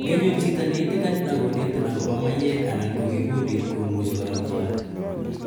Ngenyor chito ne itikani akonetin akopa maiyek anan ko kikundit komuchi kora kotaret